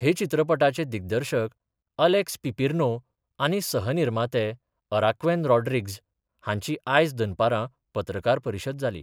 हे चित्रपटाचे दिग्दर्शक अलेक्स पिपेर्नो आनी सहनिर्माते अराव्केन रॉड्रिग्ज हांची आयज दनपारा पत्रकार परिशद जाली.